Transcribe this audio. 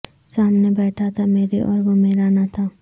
سامنے بیٹھا تھا میرے اور وہ میرا نہ تھا